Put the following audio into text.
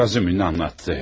Razumixin danışdı.